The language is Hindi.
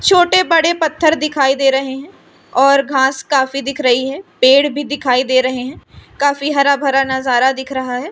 छोटे बड़े पत्थर दिखाई दे रहे हैं और घास काफी दिख रही है पेड़ भी दिखाई दे रहे हैं काफी हरा भरा नजारा दिख रहा है।